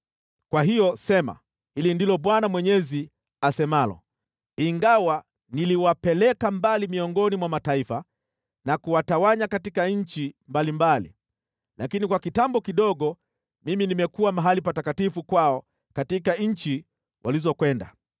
“Kwa hiyo sema, ‘Hili ndilo Bwana Mwenyezi asemalo: Ingawa niliwapeleka mbali miongoni mwa mataifa na kuwatawanya katika nchi mbalimbali, lakini kwa kitambo kidogo mimi nimekuwa mahali patakatifu kwao katika nchi walizokwenda.’